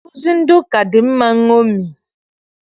Nkụzi ndị ụka dị mma nṅomi.